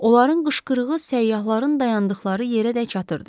Onların qışqırığı səyyahların dayandıqları yerədək çatırdı.